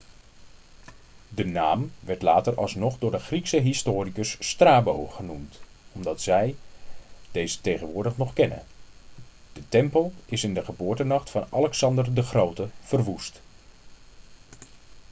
de naam werd later alsnog door de griekse historicus strabo genoemd zodat wij deze tegenwoordig nog kennen de tempel is in de geboortenacht van alexander de grote verwoest